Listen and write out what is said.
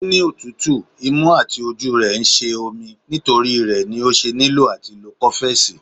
O ni otutu, imu àti ojú re sí ń sé omí, nitori ré ní o ṣe niló àti lò cofex.